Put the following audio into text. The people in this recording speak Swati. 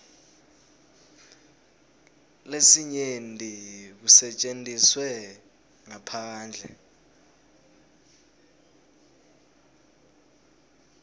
lesinyenti kusetjentiswe ngaphandle